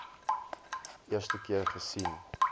eerste keer gesien